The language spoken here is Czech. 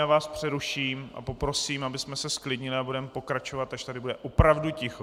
Já vás přeruším a poprosím, abychom se zklidnili, a budeme pokračovat, až tady bude opravdu ticho.